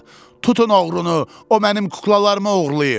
Tutun oğrunu, o mənim kuklalarımı oğurlayıb.